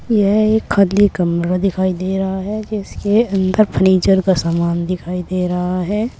यह एक खाली कमरा दिखाई दे रहा है जिसके अंदर फर्नीचर का सामान दिखाई दे रहा है।